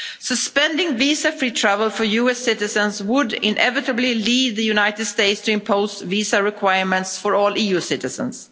Suspending visa free travel for US citizens would inevitably lead the United States to impose visa requirements for all EU citizens.